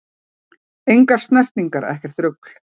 Engar snertingar, ekkert rugl!